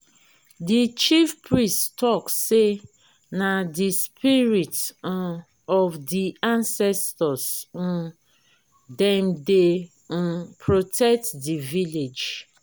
di chiefpriest tok sey na di spirit um of di ancestor um dem dey um protect di village.